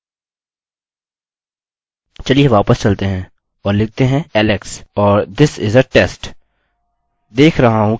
चलिए वापस चलते हैं और लिखते हैं alex और this is a test